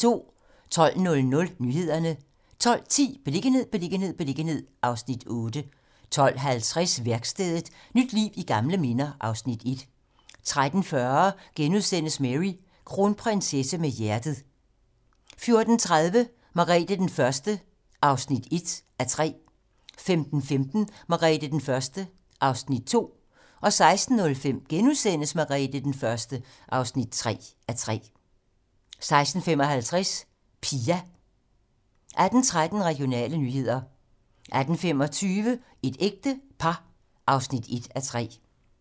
12:00: Nyhederne 12:10: Beliggenhed, beliggenhed, beliggenhed (Afs. 8) 12:50: Værkstedet - nyt liv i gamle minder (Afs. 1) 13:40: Mary - kronprinsesse med hjertet * 14:30: Margrete den Første (1:3) 15:15: Margrete den Første (2:3) 16:05: Margrete den Første (3:3)* 16:55: Pia 18:13: Regionale nyheder 18:25: Et ægte par (1:3)